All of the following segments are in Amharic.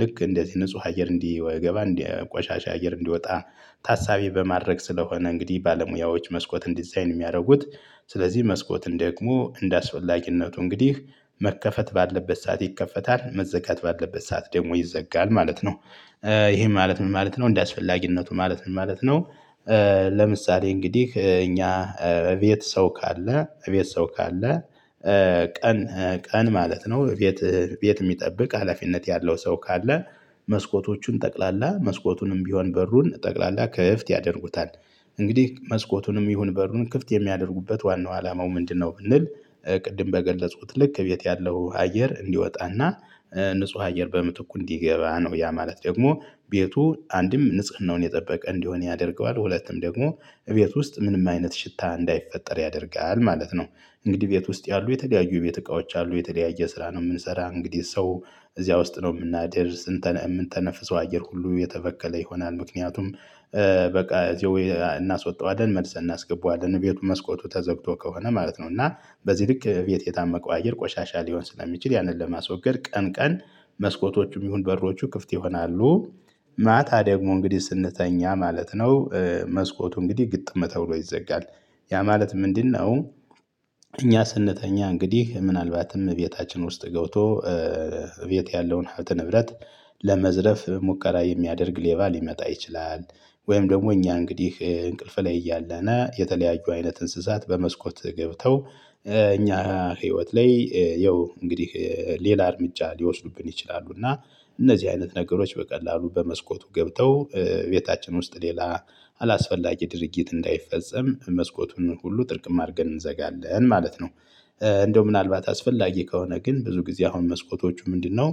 ልክ እንደዚህ ንጹህ አየር እንዲወገባ እንዲያቆሻሻ አየር እንዲወጣ ታሳቢ በማድረግ ስለሆነ እንግዲህ ባለሙያዎች መስኮትን ዲዛይን የሚያደርጉት። ስለዚህ መስኮትን ደግሞ እንደአስወላጊነቱ እንግዲህ መከፈት ባለበት ሰዓት ይከፈታል መዘጋት ባለበት ሰዓት ደግሞ ይዘጋል ማለት ነው። ይሄ ማለት ምን ማለት ነው እንደዚህ አስፈላጊነቱ ማለት ምን ማለት ነው? ለምሳሌ እንግዲህ እኛ እቤት ሰው ካለ እቤት ሰው ካለ። ቀን ቀን ማለት ነው እቤት የት የሚጠብቅ ሀላፊነት ያለው ሰው ካለ መስኮቶቹን ጠቅላላ መስኮቱንም ቢሆን በሩን ጠቅላላ ክፍት ያደርጉታል። እንግዲህ መስኮቱንም ይሁን በሩን ክፍት የሚያደርጉበት ዋናው አላማው ምንድነው ብንል? ቅድም በገለጹት ልክ ቤት ያለው አየር እንዲወጣና ንጹህ አየር በምትኩ እንዲገባ ነው ያ ማለት ደግሞ ቤቱ አንድም ንጽህናውን የጠበቀ እንዲሆን ያደርገዋል ሁለቱም ደግሞ እቤት ውስጥ ምንም አይነት ሽታ እንዳይፈጠር ያደርጋል ማለት ነው። እንግዲህ ቤት ውስጥ ያሉ የተለያዩ ቤት እቃዎች አሉ የተለያየ ስራ ነው የምንሰራ እንግዲህ ሰው እዚያ ውስጥ ነው የምናደርስ የምንተነፍሰው አየር ሁሉ የተፈከለ ይሆናል ምክንያቱም። በቃ እናስወጣው አይደል መልሰን እናስገባው አይደል ቤቱ መስኮቱ ተዘግቶ ከሆነ ማለት ነው። እና በዚህ ልክ እቤት የታመቀው አየር ቆሻሻ ሊሆን ስለሚችል ያንን ለማስወገድ ቀን ቀን መስኮቶቹም ይሁን በሮቹ ክፍት ይሆናሉ። ማታ ደግሞ እንግዲህ ስንተኛ ማለት ነው። መስኮቱ እንግዲህ ግጥም ተብሎ ይዘጋል ያ ማለት ምንድን ነው? ስንተኛ እንግዲህ ምናልባትም ቤታችን ውስጥ ገብቶ እቤት ያለውን ሀብተ ንብረት። ለመዝረፍ ሙከራ የሚያደርግ ሌባ ሊመጣ ይችላል። ወይም ደግሞ እኛ እንግዲህ እንቅልፍ ላይ እያለነ የተለያዩ አይነት እንስሳት በመስኮት ገብተው እኛ ህይወት ላይ ያው እንግዲህ ሌላ እርምጃ ሊወስዱብን ይችላሉ እና። እነዚህ አይነት ነገሮች በቀላሉ በመስኮቱ ገብተው ቤታችን ውስጥ ሌላ አላስፈላጊ ድርጊት እንዳይፈጸም መስኮቱን ሁሉ ጥርቅም አድርገን እንዘጋለን ማለት ነው። እንደው ምናልባት አስፈላጊ ከሆነ ግን ብዙ ጊዜ አሁን መስኮቶቹ ምንድነው?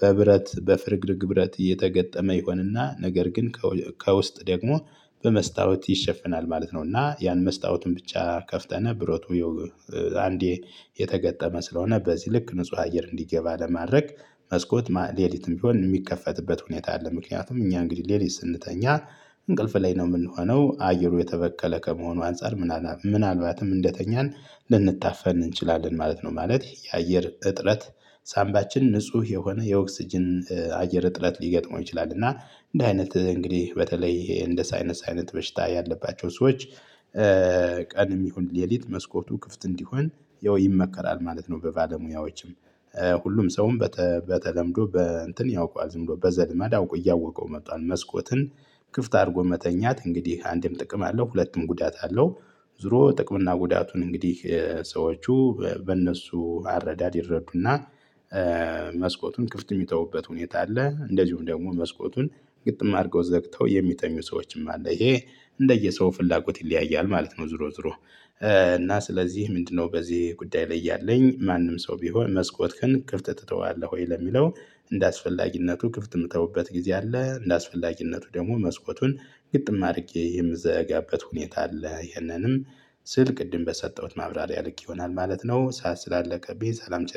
በብረት በፍርግርግ ብረት እየተገጠመ ይሆንና ነገር ግን ከውስጥ ደግሞ በመስታወት ይሸፍናል ማለት ነው። እና ያን መስታወቱን ብቻ ከፍተና ብረቱ። አንዴ የተገጠመ ስለሆነ በዚህ ልክ ንጹህ አየር እንዲገባ ለማድረግ መስኮት ሌሊትም ቢሆን የሚከፈትበት ሁኔታ አለ። ምክንያቱም እኛ እንግዲህ ሌሊት ስንተኛ እንቅልፍ ላይ ነው የምንሆነው አየሩ የተበከለ ከመሆኑ አንፃር ምናልባትም እንደተኛን ልንታፈን እንችላለን ማለት ነው ማለት የአየር እጥረት። ሳምባችን ንጹህ የሆነ የኦክስጅን አየር እጥረት ሊገጥመው ይችላል እና እንደ አይነት እንግዲህ በተለይ እንደ ሳይነስ አይነት በሽታ ያለባቸው ሰዎች። ቀን የሚሆን ሌሊት መስኮቱ ክፍት እንዲሆን ያው ይመከራል ማለት ነው። በባለሙያዎችም ሁሉም ሰውም በተለምዶ በእንትን ያውቃል በዘልማድ አውቆ እያወቀው መጣ መስኮትን ክፍት አድርጎ መተኛት እንግዲህ አንዴም ጥቅም አለው ሁለቱም ጉዳት አለው። ዞሮ ጥቅም እና ጉዳቱን እንግዲህ ሰዎቹ በእነሱ አረዳድ ይረዱና። መስኮቱን ክፍት የሚተውበት ሁኔታ አለ እንደዚሁም ደግሞ መስኮቱን ግጥም አድርገው ዘግተው የሚተኙ ሰዎችም አለ ይሄ እንደየሰው ፍላጎት ይለያያል ማለት ነው። ዝሮ ዝሮ። እና ስለዚህ ምንድነው? በዚህ ጉዳይ ላይ ያለኝ ማንም ሰው ቢሆን መስኮት ከፍት ትተዋለህ ወይ ለሚለው እንደ አስፈላጊነቱ ክፍት የምተውበት ጊዜ አለ። እንደአስፈላጊነቱ ደግሞ መስኮቱን ግጥም አድርጌ የምዘጋበት ሁኔታ አለ። ይሄንንም ስልክ ቅድም በሰጠሁት ማብራሪያ ልክ ይሆናል ማለት ነው። ሰዓት ስላለቀብኝ ሰላም ቸሩ